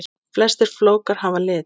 Flestir flókar hafa lit.